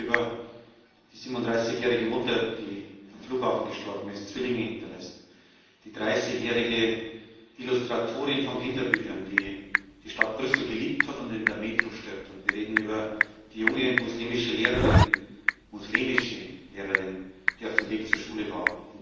Wir reden nämlich über die 37 jährige Mutter, die am Flughafen gestorben ist und Zwillinge hinterlässt, über die 30 jährige Illustratorin von Kinderbüchern, die die Stadt Brüssel geliebt hat und die in der Metro stirbt, und wir reden über die junge muslimische Lehrerin, die in der Metro auf dem Weg zur Schule war.